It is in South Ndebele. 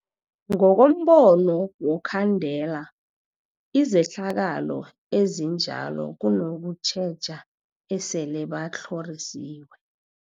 Ngokombono wokhandela izehlakalo ezinjalo kunokutjheja esele batlhorisiwe.